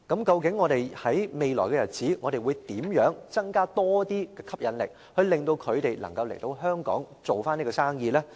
究竟我們在未來日子應如何吸引投資者來港建立飛機租賃業務呢？